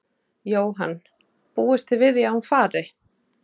Jóhann: Búist þið við því að hún fari?